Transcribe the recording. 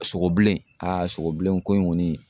Sogo bilen sogo bilen ko in kɔni